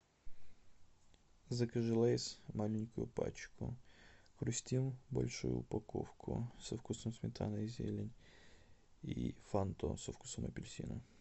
закажи лейс маленькую пачку хрустим большую упаковку со вкусом сметана и зелень и фанту со вкусом апельсина